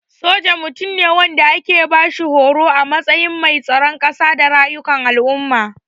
Soja Mutum ne wanda ake bashi horo a matsayin mai tsaron kasa da rayukan al'umma.